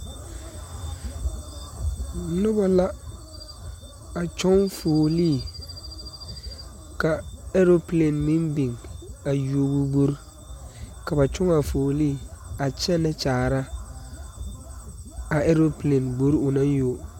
Nobɔ la a kyɔŋ fuolee ka ɛɛropleen meŋ biŋ a yuo o gbore ka ba kyɔŋaa fuolee a kyɛnɛ kyaara a ɛɛropleen gbore o naŋ yuo.